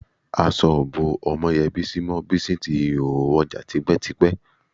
Aṣọ ò bó Ọmọ́yẹ Bísí mọ́, Bísí ti rìnhòhò wọjà tipẹ́tipẹ́